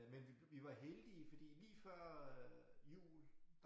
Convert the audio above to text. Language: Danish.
Øh men vi vi var heldige fordi lige før øh jul